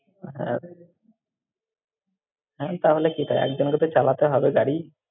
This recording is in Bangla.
হ্যাঁ, তাহলে ঠিক হয়, একজনকে তো চালাতে হবে গাড়ি।